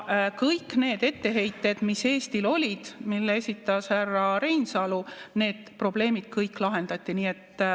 Kõik need etteheited, mis Eestil olid ja mille esitas härra Reinsalu, kõik need probleemid lahendati.